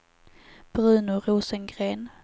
Bruno Rosengren